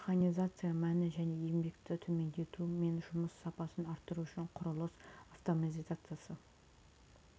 механизация мәні және еңбекті төмендету мен жұмыс сапасын арттыру үшін құрылыс автоматизациясы